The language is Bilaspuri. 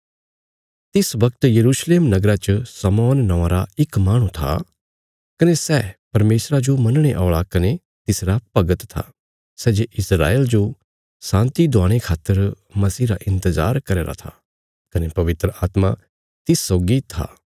तिस वगत यरूशलेम नगरा च शमौन नौआं रा इक माहणु था कने सै परमेशरा जो मनणे औल़ा कने तिसरा भगत था सै जे इस्राएल जो शान्ति दवाणे खातर मसीह रा इन्तजार करया राँ था कने पवित्र आत्मा तिस सौगी था